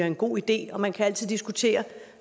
en god idé og man kan altid diskutere